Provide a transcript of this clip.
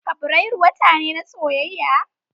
Fabrairu wata ne na soyayya.